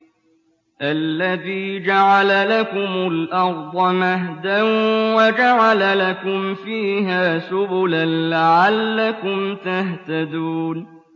الَّذِي جَعَلَ لَكُمُ الْأَرْضَ مَهْدًا وَجَعَلَ لَكُمْ فِيهَا سُبُلًا لَّعَلَّكُمْ تَهْتَدُونَ